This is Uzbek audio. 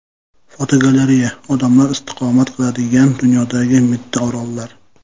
Fotogalereya: Odamlar istiqomat qiladigan dunyodagi mitti orollar.